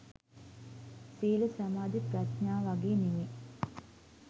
සීල සමාධි ප්‍රඥා වගේ නෙවෙයි